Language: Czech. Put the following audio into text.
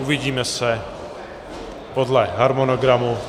Uvidíme se podle harmonogramu.